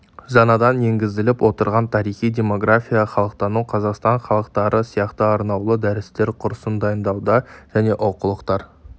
жаңадан енгізіліп отырған тарихи демография халықтану қазақстан халықтары сияқты арнаулы дәрістер курсын дайындауда және оқулықтар